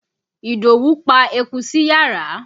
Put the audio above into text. Ìdówú pa eku sí yàrá.